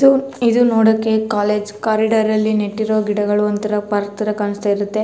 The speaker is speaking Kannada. ಇದು ಇದು ನೋಡೋಕೆ ಕಾಲೇಜ್ ಕೋರಿಡೋರ್ ಅಲ್ಲಿ ನೆಟ್ಟಿರೋ ಗಿಡಗಳು ಒಂತರ ಪಾರ್ಕ್ ತರ ಕಾಣಸ್ತಾ ಇರುತ್ತೆ.